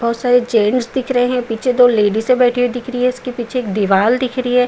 बोहोत सारे जेन्स दिख रहे हैं पीछे दो लेडीजे बैठी हुई दिख रही हैं। इसके पीछे एक दीवाल दिख रही है।